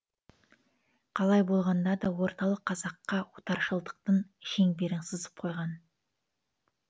қалай болғанда да орталық қазаққа отаршылдықтың шеңберін сызып қойған